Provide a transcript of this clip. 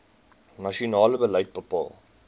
nasionale beleid bepaal